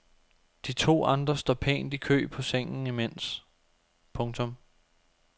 De to andre står pænt i kø på sengen imens. punktum